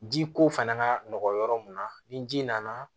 Ji ko fana ka nɔgɔ mun na ni ji nana